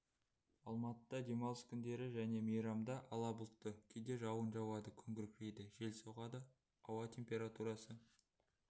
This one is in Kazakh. алматыда демалыс күндері және мейрамда ала бұлтты кейде жауын жауады күн күркірейді жел соғады ауа температурасы